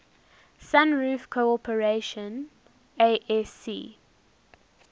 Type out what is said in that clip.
sunroof corporation asc